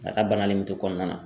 A ka bana nin bɛ to kɔnɔna na.